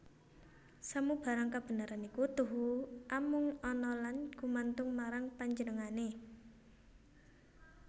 Samubarang kabeneran iku tuhu amung ana lan gumantung marang Panjenengané